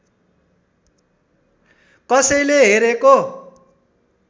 कसैले हेरेको